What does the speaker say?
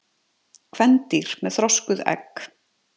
Kvendýr með þroskuð egg.